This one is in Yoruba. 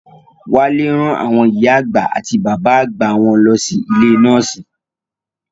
Wálé rán àwọn ìyá àgbà àti bàbá àgbà wọn lọ sí ilé nọ́ọ̀sì